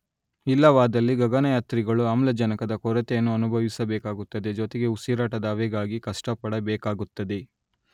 ಇಲ್ಲವಾದಲ್ಲಿ ಗಗನಯಾತ್ರಿಗಳು ಆಮ್ಲಜನಕದ ಕೊರತೆಯನ್ನು ಅನುಭವಿಸಬೇಕಾಗುತ್ತದೆ ಜೊತೆಗೆ ಉಸಿರಾಟದ ಹವೆಗಾಗಿ ಕಷ್ಟಪಡಬೇಕಾಗುತ್ತದೆ